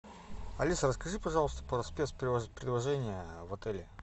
алиса расскажи пожалуйста про спецпредложения в отеле